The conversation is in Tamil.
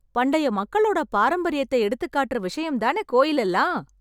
பண்டைய மக்களோட பாரம்பரியத்த எடுத்துக் காட்டுற விஷயம் தானே கோயில் எல்லாம்!